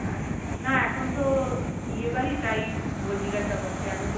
না এখন তো বিয়ে বাড়ি তাই বল জিজ্ঞাসা করছি এখন তো